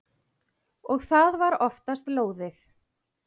Og það var oftast lóðið.